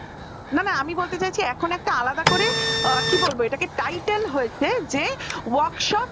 না না আমি বলতে চাইছি এখন এখন একটা আলাদা করে কি বলব এটাকে title হয়েছে যে workshop